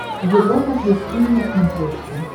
европа плюс тиви на смотрешке